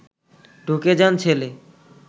ঢুকে যান ছেলে